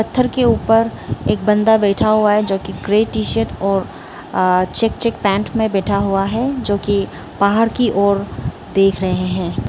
पत्थर के ऊपर एक बंदा बैठा हुआ है जो की ग्रे टी शर्ट और चेक चेक पैंट में बैठा हुआ है जो कि बाहर की ओर देख रहे हैं।